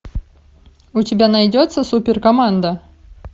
у тебя найдется супер команда